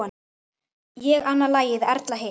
Ég annað lagið, Erla hitt!